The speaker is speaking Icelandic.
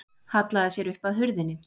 Hallaði sér upp að hurðinni.